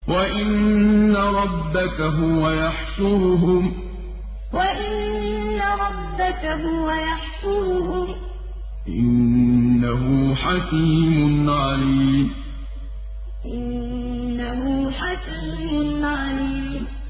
وَإِنَّ رَبَّكَ هُوَ يَحْشُرُهُمْ ۚ إِنَّهُ حَكِيمٌ عَلِيمٌ وَإِنَّ رَبَّكَ هُوَ يَحْشُرُهُمْ ۚ إِنَّهُ حَكِيمٌ عَلِيمٌ